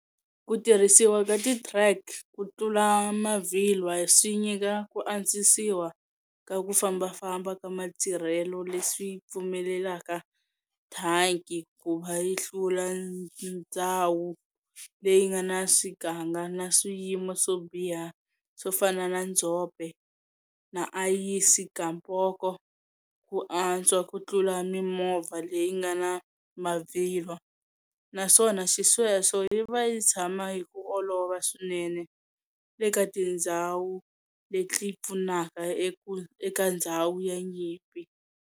Ku tirhisiwa ka ti track kutlula mavhilwa swinyika ku antswisiwa ka ku fambafamba ka matirhelo leswi pfumelelaka thanki kuva yi hlula ndzhawu leyi nga na swiganga na swiyimo swo biha swofana na ndzhope na ayisi-gamboko ku antswa kutlula mimovha leyingana mavhilwa, naswona xisweswo yiva yitshama hiku olova swinene eka tindzhawu leti pfunaka eka ndzhawu ya nyimpi.